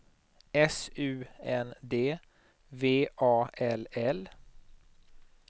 S U N D V A L L